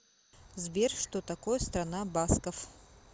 сбер что такое страна басков